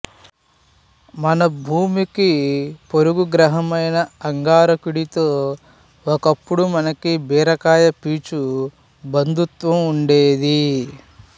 మన భూమికి పొరుగు గ్రహమైన అంగారకుడితో ఒకప్పుడు మనకు బీరకాయపీచు బంధుత్వం ఉండేది